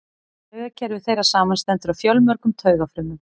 Taugakerfi þeirra samanstendur af fjölmörgum taugafrumum.